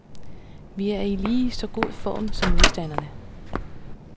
Vi er i lige så god form som modstanderne.